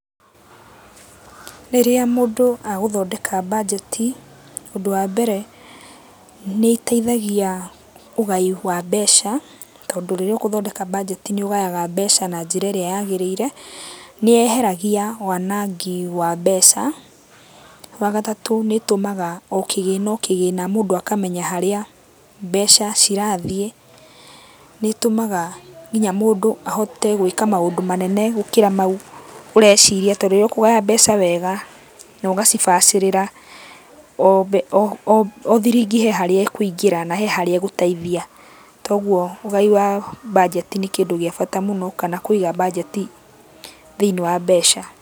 Rĩrĩa mũndũ agũthondeka mbanjeti, ũndũ wa mbere nĩiteithagia ũgai wa mbeca, tondũ rĩrĩa ũgũthondeka mbanjeti nĩũgayaga mbeca na njĩra ĩrĩa yagĩrĩire. Nĩyeheragia wanangi wa mbeca. Wagatatũ, nĩĩtũmaga o kĩgĩna o kĩgĩna mũndũ akamenya harĩa mbeca cirathiĩ. Nĩĩtũmaga kinya mũndũ ahote gũĩka maũndũ manene gũkĩra mau ũreciria, tondũ rĩrĩa ũkũgaya mbeca wega, na ũgacibacĩrĩra, o o o thiringi he harĩa ĩkũingĩra na he harĩa ĩgũteithia. Toguo, ũgai wa mbanjeti nĩ kĩndũ gĩa bata mũno kana kũiga mbanjeti thĩiniĩ wa mbeca.